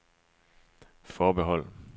forbehold